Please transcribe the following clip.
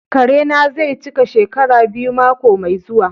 Kare na zai cika shekara biyu mako mai zuwa.